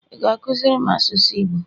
ị ga-akụziri m asụsụ igbo?